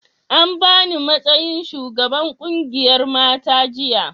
an bani matsayin shugaban ƙungiyar mata jiya